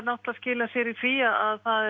skilar sér í því að